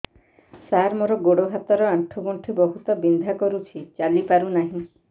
ସାର ମୋର ଗୋଡ ହାତ ର ଆଣ୍ଠୁ ଗଣ୍ଠି ବହୁତ ବିନ୍ଧା କରୁଛି ଚାଲି ପାରୁନାହିଁ